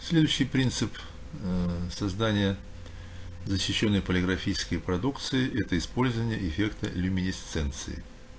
следующий принцип ээ создания защищённой полиграфической продукции это использование эффекта люминесценции